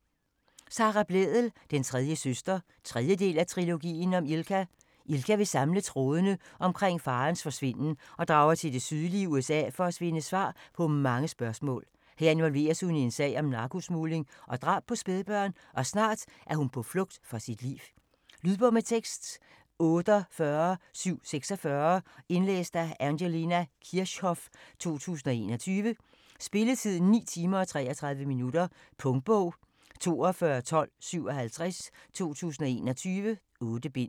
Blædel, Sara: Den tredje søster 3. del af Trilogien om Ilka. Ilka vil samle trådene omkring faderens forsvinden og drager til det sydlige USA for at finde svar på mange spørgsmål. Her involveres hun i en sag om narkosmugling og drab på spædbørn, og snart er hun på flugt for sit liv. Lydbog med tekst 48746 Indlæst af Angelina Kirchhoff, 2021. Spilletid: 9 timer, 33 minutter. Punktbog 421257 2021. 8 bind.